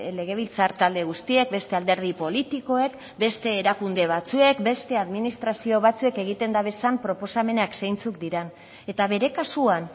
legebiltzar talde guztiek beste alderdi politikoek beste erakunde batzuek beste administrazio batzuek egiten dabezan proposamenak zeintzuk diran eta bere kasuan